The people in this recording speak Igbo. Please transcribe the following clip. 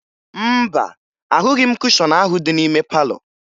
Mba, ahụghị m kushọn ahụ dị n'ime palọ